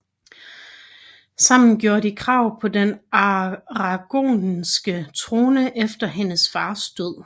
Sammen gjorde de krav på den aragonske trone efter hendes fars død